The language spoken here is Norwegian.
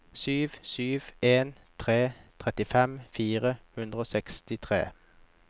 sju sju en tre trettifem fire hundre og sekstitre